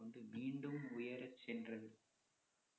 மீண்டும் உயர சென்றது